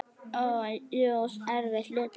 Og jú, erfitt líka.